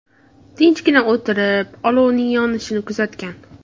Tinchgina o‘tirib, olovning yonishini kuzatgan.